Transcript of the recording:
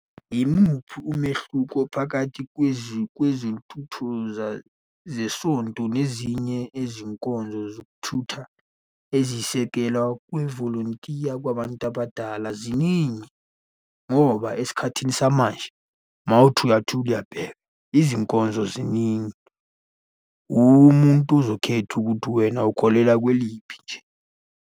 Yimuphi umehluko phakathi kwezikhuthuza zesonto nezinye izinkonzo zokuthutha ezisekela kwivolontiya kwabantu abadala? Ziningi ngoba esikhathini samanje, uma uthi uyathula uyabheka, izinkonzo ziningi, uwe umuntu ozokhetha ukuthi wena ukholelwa kweliphi nje.